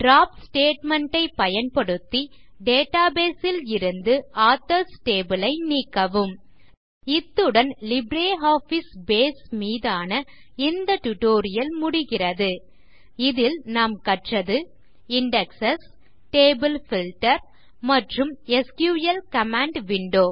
drop statement ஐ பயன்படுத்தி database ல் இருந்து ஆதர்ஸ் டேபிள் ஐ நீக்கவும் இத்துடன் லிப்ரியாஃபிஸ் பேஸ் மீதான இந்த டியூட்டோரியல் முடிகிறது இதில் நாம் கற்றது இண்டெக்ஸ் டேபிள் பில்ட்டர் மற்றும் எஸ்கியூஎல் கமாண்ட் விண்டோ